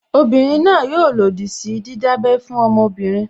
Obinrin náà yóò lòdì sí jíjábẹ́ fún ọmọbìnrin